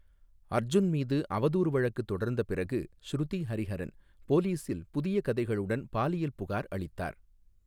அர்ஜுன் மீது அவதூறு வழக்கு தொடர்ந்த பிறகு, ஷ்ருதி ஹரிஹரன் போலீசில் புதிய கதைகளுடன் பாலியல் புகார் அளித்தார்.